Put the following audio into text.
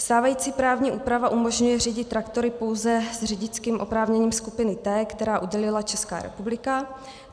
Stávající právní úprava umožňuje řídit traktory pouze s řidičským oprávněním skupiny T, která udělila Česká republika.